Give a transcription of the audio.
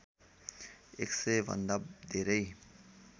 १०० भन्दा धेरै